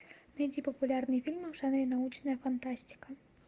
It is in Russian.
найди популярные фильмы в жанре научная фантастика